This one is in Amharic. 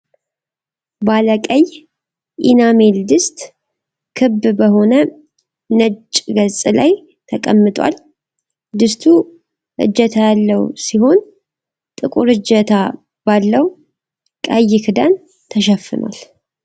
ባለ ቀይ ኢናሜል ድስት ክብ በሆነ ነጭ ገጽ ላይ ተቀምጧል። ድስቱ እጀታ ያለው ሲሆን ጥቁር እጀታ ባለው ቀይ ክዳን ተሸፍኗል።